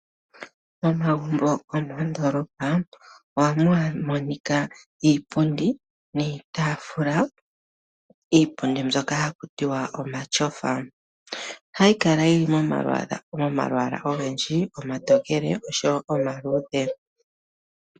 Momagumbo go moondoolopa ohamu monika iipundi niitaafula. Iipundi mbyoka haku tiwa kutya omatyofa, ohayi kala yi li momalwaala ogendji omatookele oshowo omaluudhe.